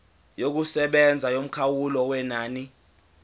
yokusebenza yomkhawulo wenani